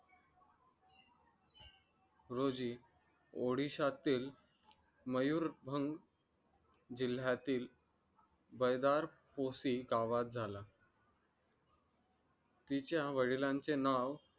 रोजी odisha तील Mayurbhanj जिल्ह्यातील बईदा पोसी या गावात झाला तिच्या वडिलांचे नाव